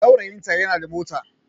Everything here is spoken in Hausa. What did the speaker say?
Saurayinta yana da mota